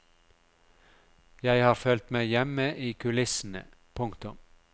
Jeg har følt meg hjemme i kulissene. punktum